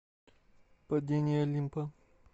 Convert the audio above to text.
падение олимпа